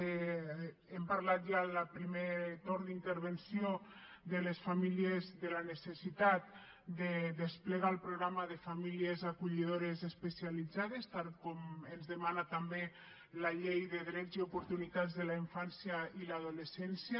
hem parlat ja en el primer torn d’intervenció de la necessitat de desplegar el programa de famílies acollidores especialitzades tal com ens demana també la llei de drets i oportunitats en la infància i l’adolescència